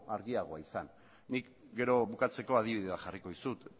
argiagoa izan nik gero bukatzeko adibidea jarriko dizut